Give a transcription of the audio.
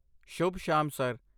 ਸ਼ੁਭ ਸ਼ਾਮ, ਸਰ!